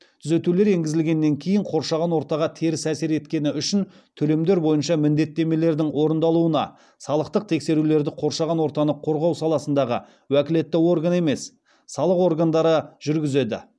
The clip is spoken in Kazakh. түзетулер енгізілгеннен кейін қоршаған ортаға теріс әсер еткені үшін төлемдер бойынша міндеттемелердің орындалуына салықтық тексерулерді қоршаған ортаны қорғау саласындағы уәкілетті орган емес салық органдары жүргізеді